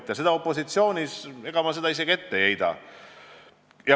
Ega ma seda opositsioonile isegi ette ei heida.